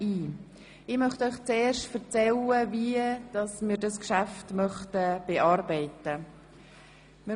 Ich möchte Ihnen zuerst darlegen, wie wir das Geschäft bearbeiten werden.